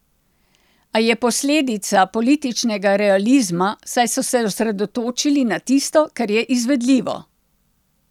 A je posledica političnega realizma, saj so se osredotočili na tisto, kar je izvedljivo.